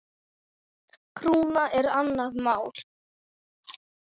Krúna er annað mál.